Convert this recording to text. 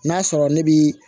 N'a sɔrɔ ne bi